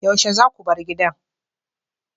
Yaushe zaku bar gidan?